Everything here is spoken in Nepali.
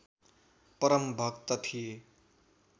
परम भक्त थिए